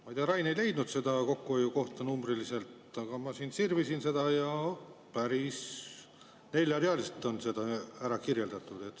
Ma ei tea, Rain ei leidnud seda numbrilist kokkuhoiukohta, aga ma siin sirvisin seletuskirja ja nägin, et kohe neljal real on see ära kirjeldatud.